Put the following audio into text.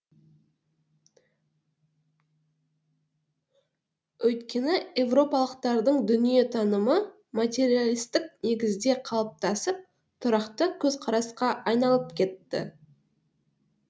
өйткені европалықтардың дүниетанымы материалисттік негізде қалыптасып тұрақты көзқарасқа айналып кетті